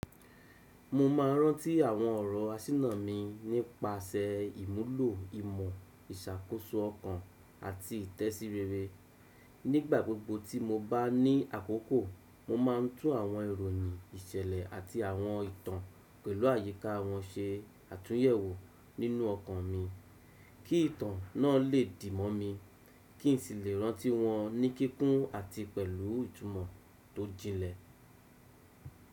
Mo ma rántí àwọn ọ̀rọ̀ asíná mi nípasẹ̀ ìmúlò ìmọ̀ ìṣàkóso ọkàn àti ìtẹ̀sírere. Nígbà gbogbo tí mo bá ní àkókò, mo ma ń tú àwọn ìròyìn ìṣẹ̀lẹ̀ àti àwọn ìtàn pẹ̀lú àyíká wọn ṣe àtúnyẹ̀wò nínú ọkàn mi. Kí ìtàn náà lè dì mọ́ mi, kí n sì lè rántí wọn ní kíkún àti pẹ̀lú ìtumọ̀ tó jinlẹ̀.